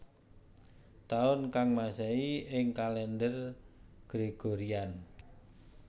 Taun ka Masehi ing kalèndher Gregorian